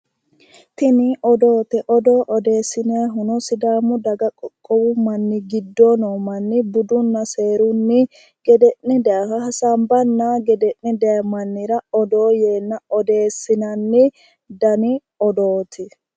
Tini odoote odoo odeessinayihuno sidaamu daga qoqqowi mann gede'ne gede'ne daayiha budunna seeru garinni gede'ne dayi mannira odoo yeenna odeessinanni garaati